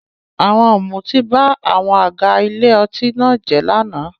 Àwọn ọ̀mùtí ba àwọn àga ilé ọtí náà jẹ́ lánàá.